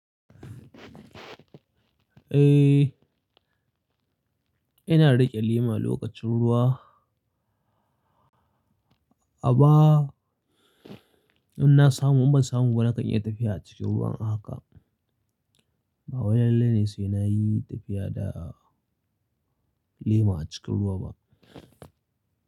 Eh, ina riƙe lema lokacin ruwa. Amma, in na samu in ban samu ba na kan iya tafiya a cikin ruwan a haka. Ba wani lalle ne sai na yi tafiya da lema a cikin ruwa ba.